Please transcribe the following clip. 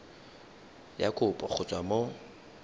ya kopo go tswa mo